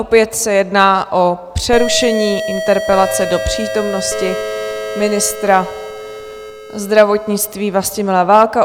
Opět se jedná o přerušení interpelace do přítomnosti ministra zdravotnictví Vlastimila Válka.